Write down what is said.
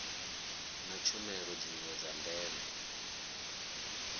na tshumelo dziwe dza ndeme